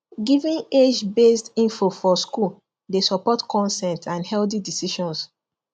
giving agebased info for school dey support consent and healthy decisions